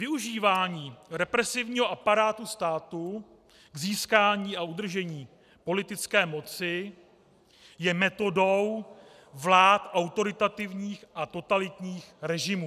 Využívání represivního aparátu státu k získání a udržení politické moci je metodou vlád autoritativních a totalitních režimů.